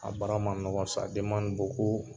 A baara ma nɔgɔn